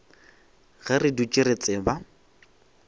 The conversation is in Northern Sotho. ge re dutše re tseba